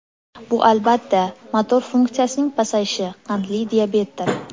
Bu albatta, motor funksiyasining pasayishi, qandli diabetdir.